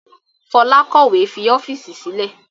Fola kọ̀wé fi ọ́fíìsì sílẹ̀